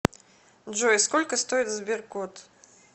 джой сколько стоит сберкот